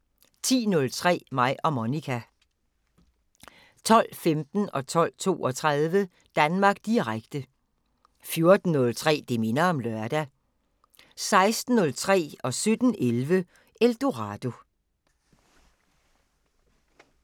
10:03: Mig og Monica 12:15: Danmark Direkte 12:32: Danmark Direkte 14:03: Det minder om lørdag 16:03: Eldorado 17:11: Eldorado